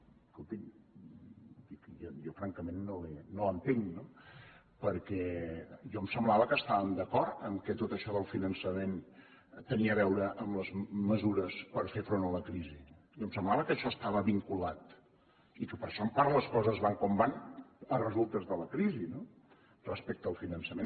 escolti’m jo francament no l’entenc no perquè a mi em semblava que estàvem d’acord que tot això del finançament tenia a veure amb les mesures per fer front a la crisi i em semblava que això hi estava vinculat i que per això en part les coses van com van a resultes de la crisi no respecte al finançament